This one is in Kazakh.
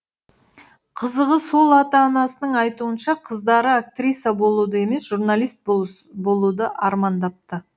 қызығы сол ата анасының айтуынша қыздары актриса болуды емес журналист болуды армандапты